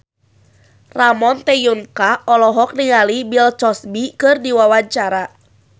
Ramon T. Yungka olohok ningali Bill Cosby keur diwawancara